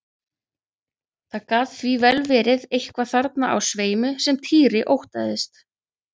Það gat því vel verið eitthvað þarna á sveimi sem Týri óttaðist.